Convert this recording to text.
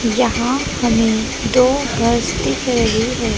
यहां हमें दो बस दिख रही है।